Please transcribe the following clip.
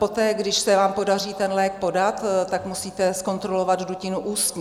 Poté, když se vám podaří ten lék podat, tak musíte zkontrolovat dutinu ústní.